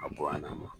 A bɔ a na